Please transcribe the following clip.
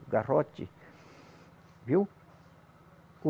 O garrote, viu?